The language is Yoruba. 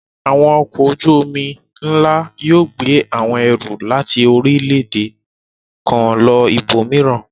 Àwọn ọkọ̀ ojú-omi ńlá yóò gbé àwọn ẹrù láti orílẹ̀-èdè kan lọ ibòmíràn.